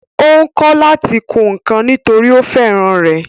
Ó ń kọ́ láti kun ǹkan nítòrí ó fẹ́ràn rẹ̀